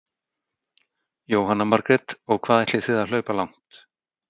Jóhanna Margrét: Og hvað ætlið þið að hlaupa langt?